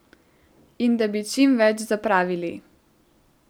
In da bi čim več zapravili.